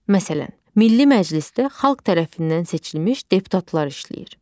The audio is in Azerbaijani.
Məsələn, Milli Məclisdə xalq tərəfindən seçilmiş deputatlar işləyir.